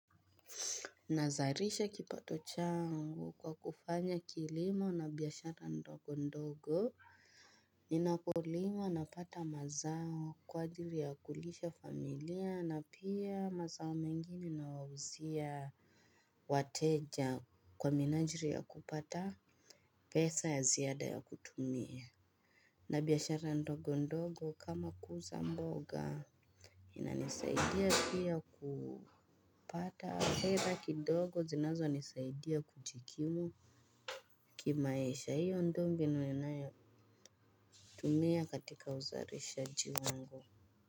Nazalisha kipato changu kwa kufanya kilimo na biashara ndogo ndogo. Ninapolima napata mazao kwa ajili ya kulisha familia na pia mazao mengine nawauzia. Wateja kwa minajiri ya kupata pesa ya ziada ya kutumia. Na biashara ndogo ndogo kama kuuza mboga. Inanisaidia pia kupata hela kidogo zinazonisaidia kujikimu kimaisha hiyo ndio mbinu ninayo tumia katika uzalishaji wangu.